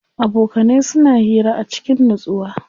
Abokanai suna hira a cikin nutsuwa.